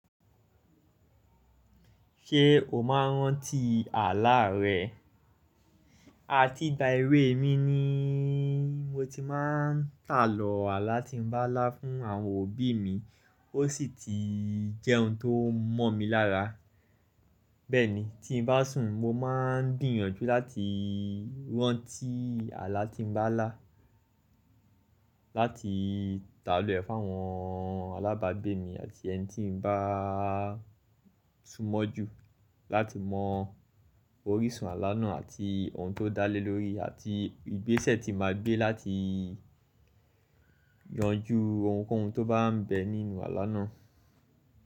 Ṣé o máa ń rántí àlá rẹ? A ti gba ìwé mi ni mo ti máa ń tàlọ̀ àlá tí mo bá lá fún àwọn òbí mi, ó sì ti jẹ́ ohun tó mọ̀ mi lára. Bẹ́ẹ̀ ni, tí bá sùn mo máa ń gbìyànjú láti rántí àlá tí n bá lá láti tàlọ́ ẹ̀ fún àwọn alábàgbé mi àti ẹni tí n bá súnmọ́ ju láti mọ orísun àlá náà àti ohun tó dá lé lórí àti ìgbésẹ̀ tí màá gbé láti yanjú ohunkóhun tó bá ń bẹ nínú àlá náà.